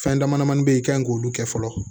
Fɛn dama damani bɛ yen i kan k'olu kɛ fɔlɔ